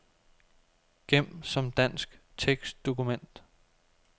Gem som dansk tekstdokument.